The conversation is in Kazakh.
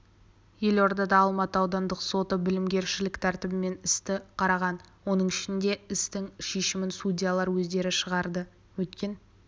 елордада алматы аудандық соты бітімгершілік тәртібімен істі қараған оның ішінде істің шешімін судьялар өздері шығарды өткен